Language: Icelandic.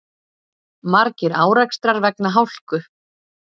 Margir árekstrar vegna hálku